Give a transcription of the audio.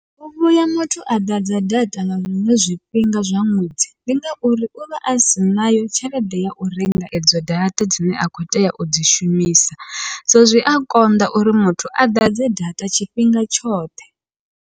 U vhuya muthu a ḓadza data nga zwiṅwe zwifhinga zwa ṅwedzi, ndi ngauri uvha asi nayo tshelede yau renga edzo data dzine a kho tea udzi shumisa, so zwi a konḓa uri muthu a ḓadze data tshifhinga tshoṱhe.